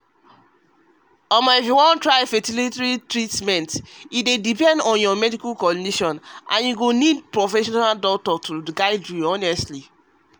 trying fertility treatment dey depend on your medical condition and e need professional professional doctor to guide you honestly.